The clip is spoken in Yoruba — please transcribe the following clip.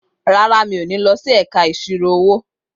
Rárá, mi ò ní lọ sí ẹ̀ka ìṣirò-owó.